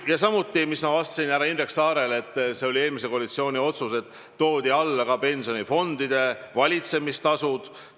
Ma ütlesin härra Indrek Saarele vastates ka seda, et see oli eelmise koalitsiooni otsus, et pensionifondide valitsemistasusid tuleb vähendada.